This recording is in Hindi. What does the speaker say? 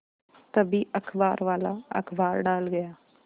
तभी अखबारवाला अखबार डाल गया